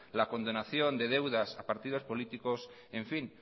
la condonación de deudas a partidos políticos